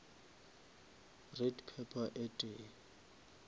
red pepper e tee